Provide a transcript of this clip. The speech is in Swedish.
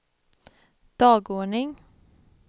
dagordning